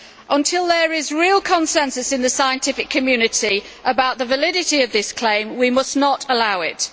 Until there is real consensus in the scientific community about the validity of this claim, we must not allow it.